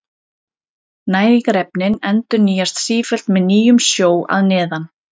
Næringarefnin endurnýjast sífellt með nýjum sjó að neðan.